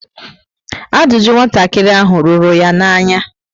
Ajụjụ nwatakịrị ahụ rúrú ya na-anya